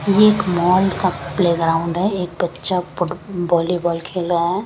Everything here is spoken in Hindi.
यह एक मॉल का प्लेग्राउंड है एक बच्चा फुट वॉलीबॉल खेल रहा है।